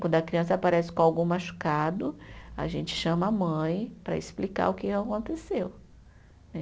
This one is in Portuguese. Quando a criança aparece com algum machucado, a gente chama a mãe para explicar o que aconteceu, né?